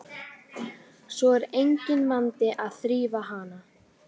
Við bráðnun verða þar smám saman til ísstrýtur huldar auri.